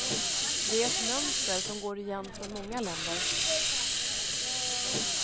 Det är ett mönster som går igen från många länder.